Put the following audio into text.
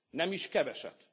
Nem is keveset.